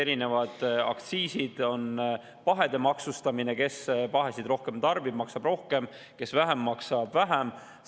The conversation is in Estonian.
Erinevad aktsiisid on pahede maksustamine, kellel on pahesid rohkem, maksab rohkem, kellel vähem, maksab vähem.